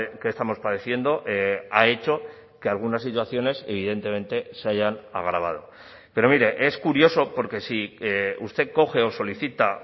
que estamos padeciendo ha hecho que algunas situaciones evidentemente se hayan agravado pero mire es curioso porque si usted coge o solicita